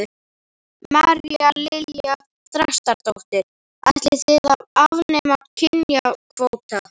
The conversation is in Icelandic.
María Lilja Þrastardóttir: Ætlið þið að afnema kynjakvóta?